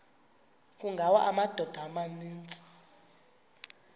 kungawa amadoda amaninzi